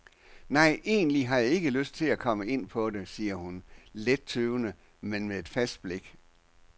Nej, egentlig har jeg ikke lyst at komme ind på det, siger hun, let tøvende, men med fast blik.